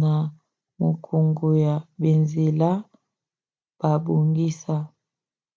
na mokongo na banzela babongisa